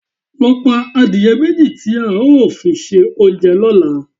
Lọ pa adìẹ méjì tí a ó fi ṣe oúnjẹ lọ́la!